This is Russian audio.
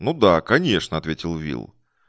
ну да конечно ответил уилл